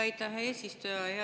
Aitäh, hea eesistuja!